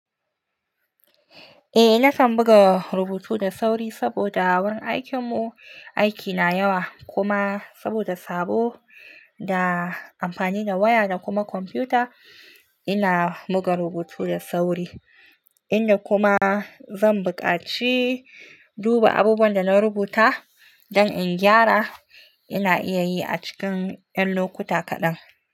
Eh, na kan buga rubutu da sauri saboda wurin aikin mu aiki na yawa kuma saboda sabo da amfani da waya da kuma kwamfuta ina buga rubutu da sauri. Inda kuma zan buƙaci duba abubuwan da na rubuta don in gyara. Ina iya yi a cikin ƴan lokuta kaɗan.